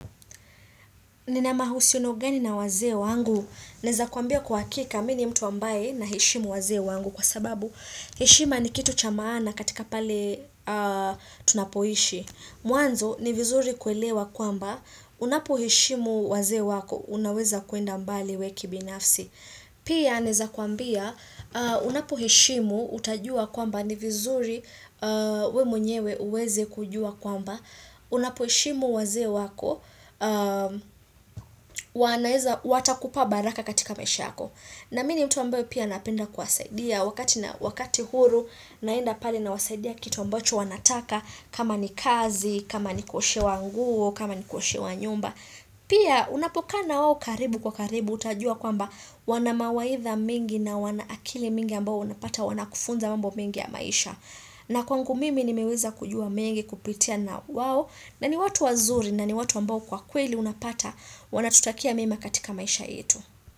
Nina mahusiani gani na wazee wangu. Naeza kuambia kwa hakika mi ni mtu ambaye na heshimu wazee wangu kwa sababu. Heshima ni kitu cha maana katika pale tunapoishi. Mwanzo ni vizuri kuelewa kwamba unapo heshimu waze wako unaweza kuenda mbali we kibinafsi. Pia naeza kuambia unapoheshimu utajua kwamba ni vizuri we mwenyewe uweze kujua kwamba. Unapoheshimu waze wako, wanaeza watakupa baraka katika maish yako. Na mini mtu ambeo pia napinda kwasaidia wakati huru naenda pale na wasaidia kity mbacho wanataka kama ni kazi, kama ni kuoshewa nguo, kama ni kuoshewa nyumba. Pia unapokaana wawo karibu kwa karibu utajua kwamba wanamawaidha mingi na wanaakili mingi ambao unapata wanakufunza mambo mingi ya maisha na kwangu mimi nimeweza kujua mingi kupitia na wao na ni watu wazuri na ni watu ambao kwa kweli unapata wanatutakia mema katika maisha yetu.